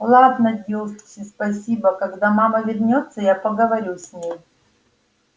ладно дилси спасибо когда мама вернётся я поговорю с ней